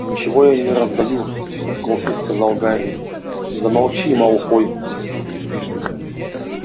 ничего я не раздаю стиснув кулаки сказал гарри замолчи малфой